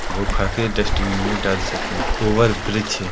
वो खाके डस्ट्बिन मे डाल सके ओवर ब्रिज है।